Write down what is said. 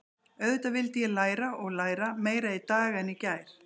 Auðvitað vildi ég læra og læra, meira í dag en í gær.